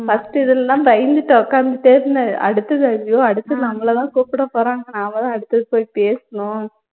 first இதுலலாம் பயந்துட்டு உக்காந்துட்டே இருந்தேன் அடுத்தது ஐயோ அடுத்து நம்மள தான் கூப்பிட போறாங்க நாம தான் அடுத்தது போய் பேசனும்